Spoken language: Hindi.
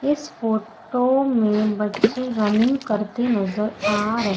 इस फोटो में बच्चे रनिंग करते नजर आ रहे--